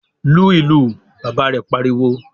"Lu ìlù!" Bàbá rẹ̀ pariwo.